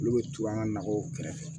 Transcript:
Olu bɛ to an ka nakɔw kɛrɛfɛ